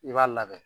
I b'a labɛn